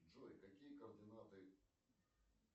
джой какие координаты